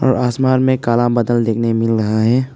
आसमान में काला बादल देखने मिल रहा है।